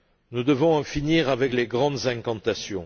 Nous devons en finir avec les grandes incantations.